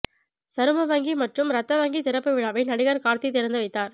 சரும வங்கி மற்றும் இரத்த வங்கி திறப்பு விழாவை நடிகர் கார்த்தி திறந்து வைத்தார்